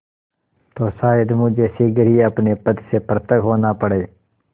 तो शायद मुझे शीघ्र ही अपने पद से पृथक होना पड़े